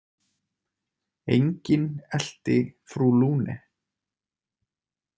Enginn elti frú Lune.